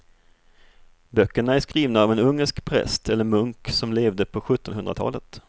Böckerna är skrivna av en ungersk präst eller munk som levde på sjuttonhundratalet.